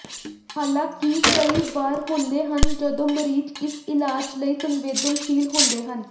ਹਾਲਾਂਕਿ ਕਈ ਵਾਰ ਹੁੰਦੇ ਹਨ ਜਦੋਂ ਮਰੀਜ਼ ਇਸ ਇਲਾਜ ਲਈ ਸੰਵੇਦਨਸ਼ੀਲ ਹੁੰਦੇ ਹਨ